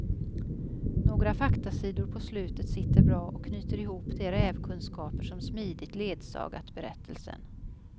Några faktasidor på slutet sitter bra och knyter ihop de rävkunskaper som smidigt ledsagat berättelsen.